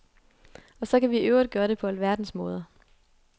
Og så kan vi i øvrigt gøre det på alverdens måder.